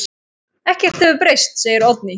Ekkert hefur breyst, segir Oddný.